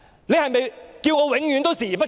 你是否叫我永遠視而不見？